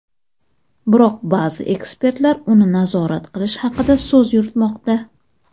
Biroq ba’zi ekspertlar uni nazorat qilish haqida so‘z yuritmoqda.